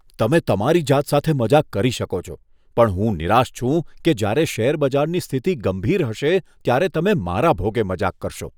તમે તમારી જાત સાથે મજાક કરી શકો છો, પણ હું નિરાશ છું કે જ્યારે શેરબજારની સ્થિતિ ગંભીર હશે ત્યારે તમે મારા ભોગે મજાક કરશો.